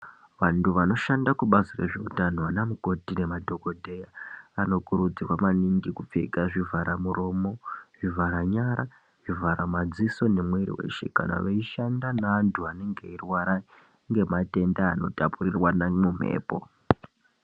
Vantu vanoshanda kubazi zveutano ana mukoti nemadhokodheya vanokurudzirwa maningi kupfeka zvivhara muromo zvivhara nyara zvivhara madziso nemwiri weshe kana veishanda nevantu vanenge veirwara ngematenda anotapurirwana munhepo.